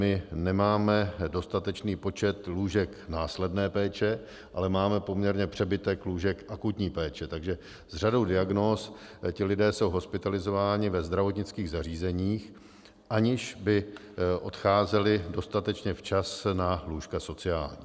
My nemáme dostatečný počet lůžek následné péče, ale máme poměrně přebytek lůžek akutní péče, takže s řadou diagnóz ti lidé jsou hospitalizováni ve zdravotnických zařízeních, aniž by odcházeli dostatečně včas na lůžka sociální.